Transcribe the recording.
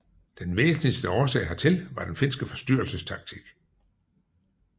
Den væsentligste årsag hertil var den finske forstyrrelsestaktik